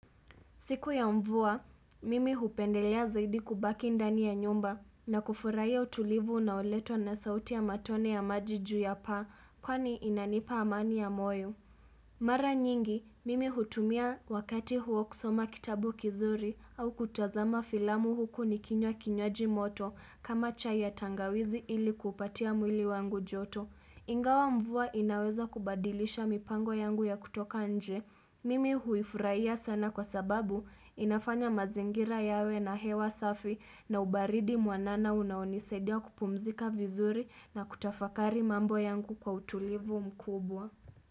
Siku ya mvua, mimi hupendelea zaidi kubaki ndani ya nyumba na kufurahia utulivu unaoletwa na sauti ya matone ya maji juu ya paa, kwani inanipa amani ya moyo. Mara nyingi, mimi hutumia wakati huo kusoma kitabu kizuri au kutazama filamu huku nikinywa kinywaji moto kama chai ya tangawizi ili kupatia mwili wangu joto. Ingawa mvua inaweza kubadilisha mipango yangu ya kutoka nje. Mimi huifurahia sana kwa sababu inafanya mazingira yawe na hewa safi na ubaridi mwanana unaonisaidia kupumzika vizuri na kutafakari mambo yangu kwa utulivu mkubwa.